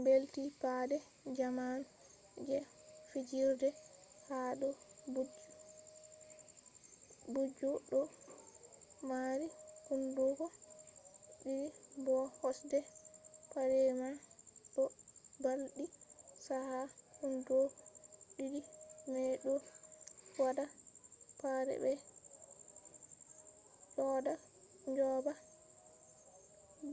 mbeldi pade jamanu je fijirde ha do booju do marii hunduko di'di bo kosde pade man do mbaldi chaka. hunduko di'di mai do wada pade mai joga